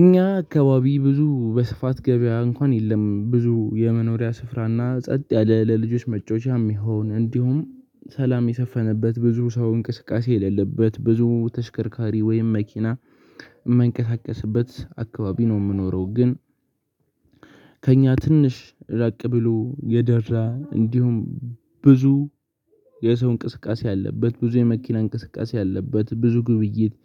እኛ አካባቢ ብዙ በስፋት ገበያ እንኳን የለም ብዙ የመኖሪያ ስፍራና ጸጥ ያለ ለልጆች መጫወቻም ይሁን እንዲሁም ሰላም የሰፈነበት ብዙ ሰው እንቅስቃሴ የሌለበት ብዙ ተሽከርካሪ ወይም መኪና የማንቀሳቀስበት አካባቢ ነው የምኖረው ግን። ከእኛ ትንሽ ራቅ ብሎ የደራ እንዲሁም ብዙ የሰው እንቅስቃሴ ያለበት ብዙ የመኪና እንቅስቃሴ ያለበት ብዙ ግብይት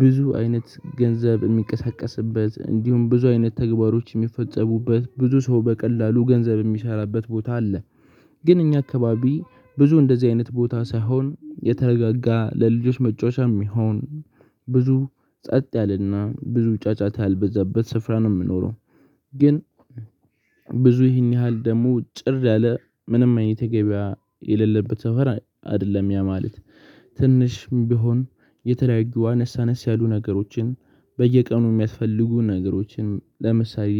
ብዙ አይነት ገንዘብ የሚቀሰቀስበት እንዲሁም ብዙ አይነት ተግባሮች የሚፈጸሙበት ብዙ ሰው በቀላሉ ገንዘብ የሚሰራበት ቦታ አለ። ግን እኛ አካባቢ ብዙ እንደዚህ አይነት ቦታ ሳይሆን የተረጋጋ ለልጆች መጫወቻም ይሁን ብዙ ጸጥ ያለና ብዙ ጫጫታ ያልበዛበት ስፍራ ነው የምኖረው። ግን ብዙ ይህን ያህል ደግሞ ጭር ያለ ምንም አይነት ተገቢያ የሌለበት ሰፈር አይደለም ያ ማለት። ትንሽ ቢሆን የተለያዩ አነሳነስ ያሉ ነገሮችን በየቀኑ የሚያስፈልጉ ነገሮችን ለምሳሌ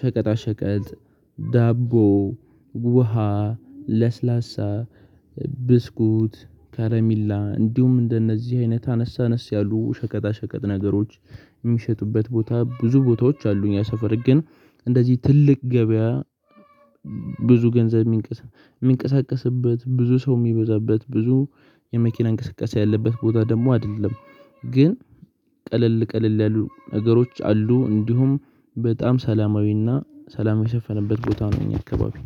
ሸቀጣ ሸቀጥ ዳቦ ውሃ ለስላሳ ብስኩት ከረሚላ እንዲሁም እንደነዚህ አይነት አነሳነስ ያሉ ሸቀጣ ሸቀጥ ነገሮች የሚሸጡበት ቦታ ብዙ ቦታዎች አሉኝ። ያ ሰፈር ግን እንደዚህ ትልቅ ገበያ ብዙ ገንዘብ የሚንቀሳቀስበት ብዙ ሰው የሚበዛበት ብዙ የመኪና እንቅስቃሴ ያለበት ቦታ ደግሞ አይደለም። ግን ቀለል ቀለል ያሉ ነገሮች አሉ እንዲሁም በጣም ሰላማዊና ሰላም የሰፈነበት ቦታ ነው። እኛ አካባቢ